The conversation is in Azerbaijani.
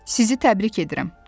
Sizi təbrik edirəm.